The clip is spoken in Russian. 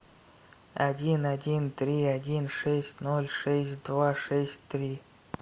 один один три один шесть ноль шесть два шесть три